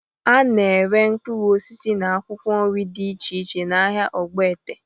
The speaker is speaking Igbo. A na-ere mkpụrụ osisi na akwụkwọ nri dị iche iche n'ahịa ogboete.